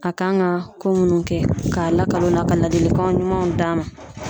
A kan ka ko munnu kɛ ka lakalan ka ladilikan ɲumanw d'a ma.